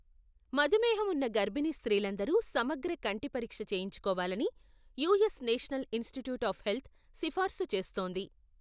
మధుమేహం ఉన్న గర్భిణీ స్త్రీలందరూ సమగ్ర కంటి పరీక్ష చేయించుకోవాలని US National Institute of Health సిఫార్సు చేస్తోంది.